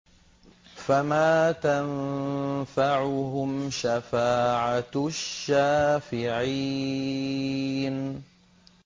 فَمَا تَنفَعُهُمْ شَفَاعَةُ الشَّافِعِينَ